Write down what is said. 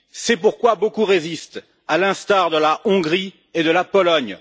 c'est pourquoi beaucoup résistent, à l'instar de la Hongrie et de la Pologne.